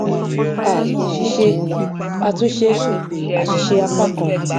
a ṣíṣe àtúnṣe àṣìṣe apá kan